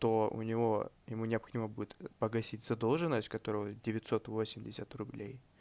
то у него ему необходимо будет погасить задолженность которого девятьсот восемьдесят рублей